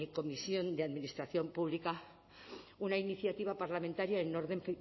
comisión de administración pública una iniciativa parlamentaria en orden